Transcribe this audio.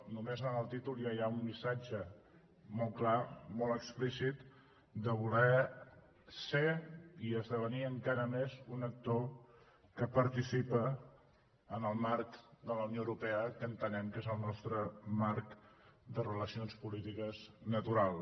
només en el títol ja hi ha un missatge molt clar molt explícit de voler ser i esdevenir encara més un actor que participa en el marc de la unió europea que entenem que és el nostre marc de relacions polítiques natural